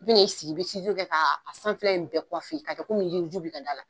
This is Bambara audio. I bi n'i sigi, i bi kɛ ka a sanfɛla in bɛɛ ka kɛ ko min yiriiju bi ka da la